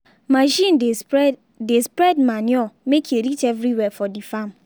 machine dey spread dey spread manure make e reach everywhere for the farm.